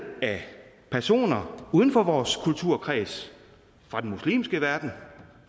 af personer uden for vores kulturkreds fra den muslimske verden